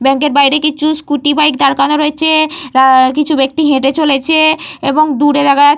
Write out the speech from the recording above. Bank এর বাইরে কিছু স্ক্যুটি বাইক দাঁড় করানো রয়েছে। উহঃ কিছু ব্যক্তি হেঁটে চলেছে এবং দূরে দেখা যা --